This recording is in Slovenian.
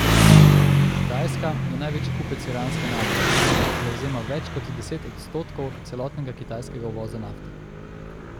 Kitajska je največji kupec iranske nafte, ki zavzema več kot deset odstotkov celotnega kitajskega uvoza nafte.